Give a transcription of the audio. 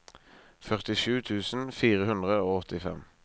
førtisju tusen fire hundre og åttifem